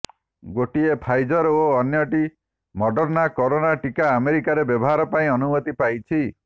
ଗୋଟିଏ ଫାଇଜର ଓ ଅନ୍ୟଟି ମଡର୍ଣ୍ଣା କରୋନା ଟିକା ଆମେରିକାରେ ବ୍ୟବହାର ପାଇଁ ଅନୁମତି ପାଇଛି